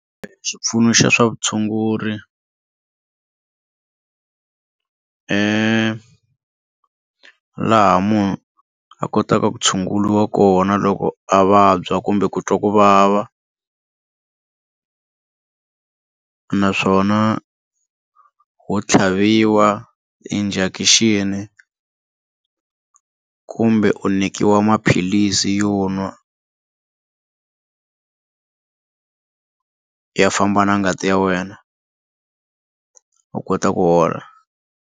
Xipfuno xa swa vutshunguri hi laha munhu a kotaka ku tshunguriwa kona loko a vabya kumbe ku twa ku vava naswona ho tlhaviwa injection kumbe u nyikiwa maphilisi yo nwa ya famba na ngati ya wena u kota ku hola.